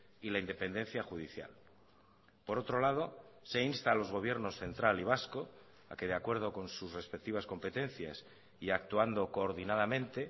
y la independencia judicial por otro lado se insta a los gobiernos central y vasco a que de acuerdo con sus respectivas competencias y actuando coordinadamente